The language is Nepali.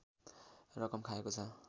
रकम खाएको छ